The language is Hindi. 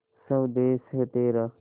स्वदेस है तेरा